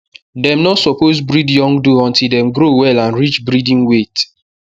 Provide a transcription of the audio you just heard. dem no suppose breed young doe until dem grow well and reach breeding weight